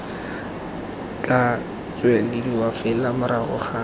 tla tswelediwa fela morago ga